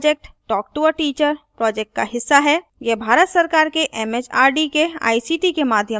यह भारत सरकार एमएचआरडी के आईसीटी के माध्यम से राष्ट्रीय साक्षरता mission द्वारा समर्थित है